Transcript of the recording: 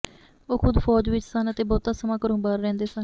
ਉਹ ਖੁਦ ਫੌਜ ਵਿਚ ਸਨ ਅਤੇ ਬਹੁਤਾ ਸਮਾਂ ਘਰੋਂ ਬਾਹਰ ਰਹਿੰਦੇ ਸਨ